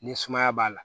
Ni sumaya b'a la